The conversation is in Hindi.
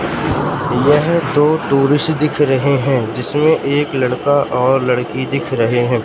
यह दो टूरिस्ट दिख रहे हैं जिसमें एक लड़का और लड़की दिख रहे हैं।